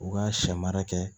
U ka sɛ mara kɛ